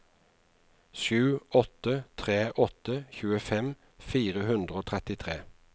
sju åtte tre åtte tjuefem fire hundre og trettitre